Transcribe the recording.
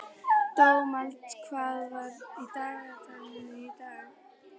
Dómald, hvað er á dagatalinu í dag?